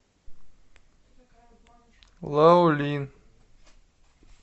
лаолин